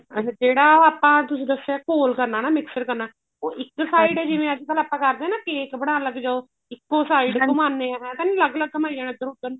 ਅੱਛਾ ਜਿਹੜਾ ਆਪਣਾ ਤੁਸੀਂ ਦੱਸਿਆ ਘੋਲ ਕਰਨਾ ਨਾ mixture ਕਰਨਾ ਉਹ ਇੱਕ side ਜਿਵੇਂ ਅੱਜਕਲ ਆਪਾਂ ਕਰਦੇ ਹਾਂ ਨਾ cake ਬਣਾਉਣ ਲੱਗਜੋ ਇੱਕੋ side ਘੁਮਾਉਂਦੇ ਹਾਂ ਏਵੇਂ ਤਾਂ ਨੀ ਅਲੱਗ ਅਲੱਗ ਘੁਮਾਈ ਜਾਣਾ ਇੱਧਰ ਉਧਰ